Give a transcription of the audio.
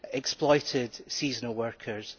exploited seasonal workers.